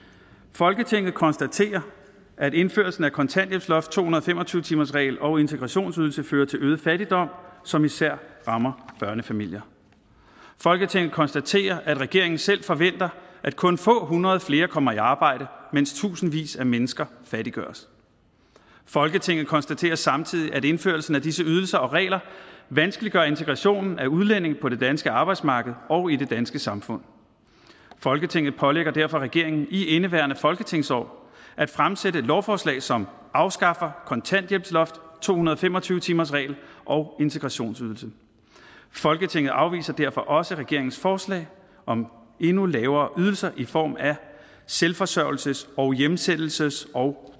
folketinget konstaterer at indførelsen af kontanthjælpsloft to hundrede og fem og tyve timersregel og integrationsydelse fører til øget fattigdom som især rammer børnefamilier folketinget konstaterer at regeringen selv forventer at kun få hundrede flere kommer i arbejde mens tusindvis af mennesker fattiggøres folketinget konstaterer samtidig at indførelsen af disse ydelser og regler vanskeliggør integrationen af udlændinge på det danske arbejdsmarked og i det danske samfund folketinget pålægger derfor regeringen i indeværende folketingsår at fremsætte et lovforslag som afskaffer kontanthjælpsloft og to hundrede og fem og tyve timersregel og integrationsydelse folketinget afviser derfor også regeringens forslag om endnu lavere ydelser i form af selvforsørgelses og hjemsendelses og